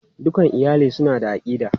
Dukan iyali suna da aƙida.